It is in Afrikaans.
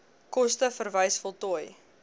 koste verwys voltooi